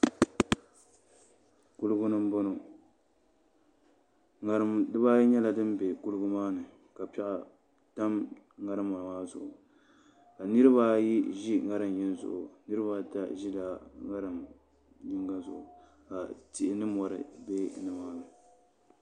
Kuligi ni n boŋo ŋarim dibaayi nyɛla din bɛ kuligi maa ni ka piɛɣu tam ŋarima maa zuɣu ka niraba ayi ʒi ŋarim yinga zuɣu niraba ata ʒila ŋarim yinga zuɣu ka tihi ni mori bɛ nimaani